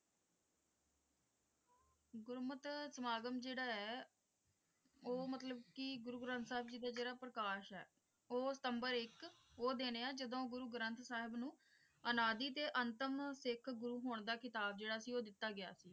ਗੁਰਮਤਿ ਸਮਾਗਮ ਜਿਹੜਾ ਹੈ ਉਹ ਮਤਲਬ ਕਿ ਗੁਰੂ ਗ੍ਰੰਥ ਸਾਹਿਬ ਦਾ ਜਿਹੜਾ ਪ੍ਰਕਾਸ਼ ਹੈ ਉਹ ਸਿਤੰਬਰ ਇੱਕ ਉਹ ਦਿਨ ਹੈ ਜਦੋਂ ਗੁਰੂ ਗ੍ਰੰਥ ਸਾਹਿਬ ਨੂੰ ਅਨਾਦਿ ਤੇ ਅੰਤਿਮ ਸਿੱਖ ਗੁਰੂ ਹੋਣ ਦਾ ਖਿਤਾਬ ਜਿਹੜਾ ਸੀ ਉਹ ਦਿੱਤਾ ਗਿਆ ਸੀ।